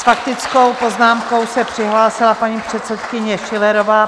S faktickou poznámkou se přihlásila paní předsedkyně Schillerová.